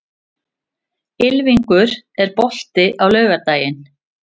Ylfingur, er bolti á laugardaginn?